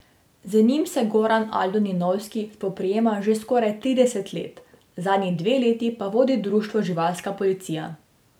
Z njimi se Goran Aldo Ninovski spoprijema že skoraj trideset let, zadnji dve leti pa vodi društvo Živalska policija.